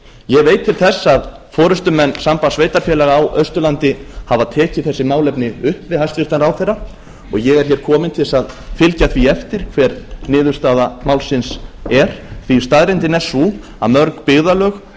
ég veit til þess að forustumenn sambands sveitarfélaga á austurlandi hafa tekið þessi málefni upp við hæstvirtan ráðherra og ég er hér kominn til þess að fylgja því eftir hver niðurstaða málsins er því staðreyndin er sú að mörg byggðarlög á